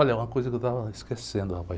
Olha, uma coisa que eu estava esquecendo, rapaz.